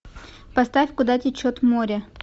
поставь куда течет море